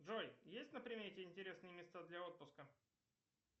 джой есть на примете интересные места для отпуска